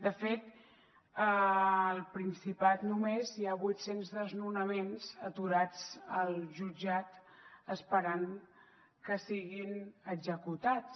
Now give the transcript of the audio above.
de fet al principat només hi ha vuit cents desnonaments aturats al jutjat esperant que siguin executats